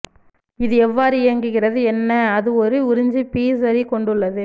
இது எவ்வாறு இயங்குகிறது என்ன அது ஒரு உறிஞ்சி பி சரி கொண்டுள்ளது